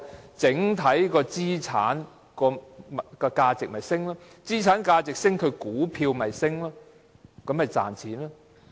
當整體資產價值上升，股價便會上升，公司便會賺錢。